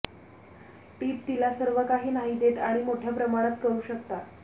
टीप तिला सर्वकाही नाही देत आणि मोठ्या प्रमाणात करू शकता